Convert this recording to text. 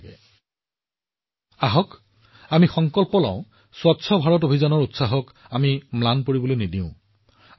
সেয়েহে আমি স্বচ্ছ ভাৰত অভিযানৰ উৎসাহ হ্ৰাস নকৰিবলৈ সংকল্প লও আহক